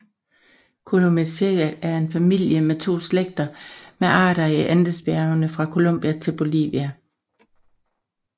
Columelliaceae er en familie med to slægter med arter i Andesbjergene fra Colombia til Bolivia